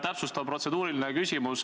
Täpsustav protseduuriline küsimus.